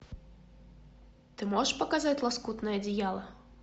ты можешь показать лоскутное одеяло